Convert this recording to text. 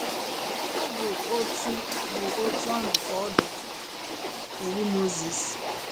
Ọ bụ otú bụ otú ahụ ka ọ dị Iwu Mozis.